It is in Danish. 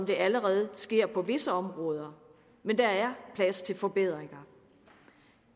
allerede sker på visse områder men der er plads til forbedringer